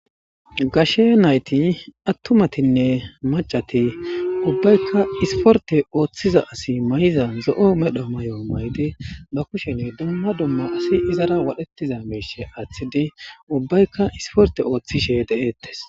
Gashe nayti attumatinne macati ubbaykka isporte ooththiza asi may7iza zo7o medho may7o maydi ba kushen dumma dumma asi izara wadhetiza meishe aaththidi ubbaykka isporte ooththishe deeettes.